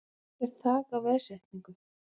Ekkert þak á veðsetningu